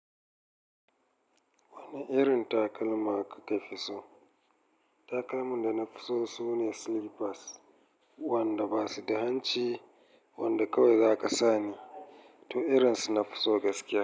Wani irin takalma kaka fi so? Takalman da na fi so sune sleepers wanda ba su da hanci wanda kawai zaka sane to irin su nafi so gaskiya.